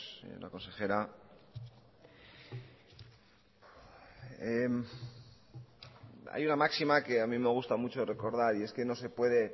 señora consejera hay una máxima que a mí me gusta mucho recordar y es que no se puede